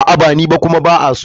A'a ba ni ba kuma ba a so.